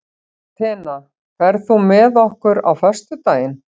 Atena, ferð þú með okkur á föstudaginn?